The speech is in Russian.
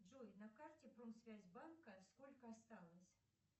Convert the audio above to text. джой на карте промсвязьбанка сколько осталось